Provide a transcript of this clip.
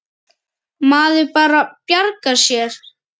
Maður bara bjargar sér.